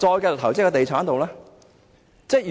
繼續投資在地產之上？